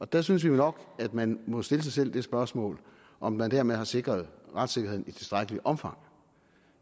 der synes vi jo nok at man må stille sig selv det spørgsmål om man dermed har sikret retssikkerheden i tilstrækkeligt omfang